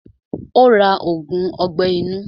Ó ra ògùn ọgbẹ́ inú.